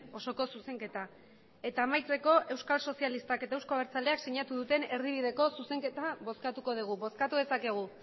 osoko zuzenketa eta amaitzeko euskal sozialistak eta euzko abertzaleak sinatu duten erdibideko zuzenketa bozkatuko dugu bozkatu dezakegu